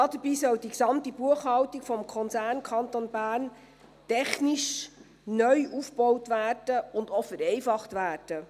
Dabei soll die gesamte Buchhaltung des Konzerns Kanton Bern technisch neu aufgebaut und auch vereinfacht werden.